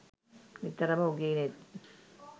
නිතරම උගේ නෙත්